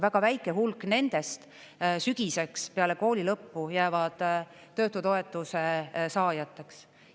Väga väike hulk nendest sügiseks peale kooli lõppu jäävad töötutoetuse saajateks.